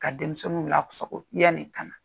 Ka denmisɛnnu lasago yani kana.